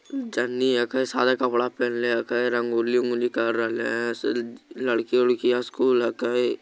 जनी हेके सादा कपड़ा पेनले हके रंगोली-उँगोली कर रहले लड़की-उड़किया स्कूल हकई ।